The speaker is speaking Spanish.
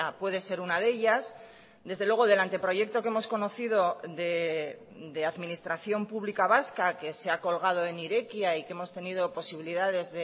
puede ser una de ellas desde luego del anteproyecto que hemos conocido de administración pública vasca que se ha colgado en irekia y que hemos tenido posibilidades